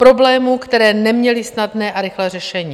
Problémů, které neměly snadné a rychlé řešení.